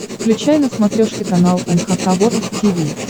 включай на смотрешке канал эн эйч кей волд ти ви